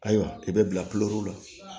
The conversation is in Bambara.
Ayiwa i bɛ bila la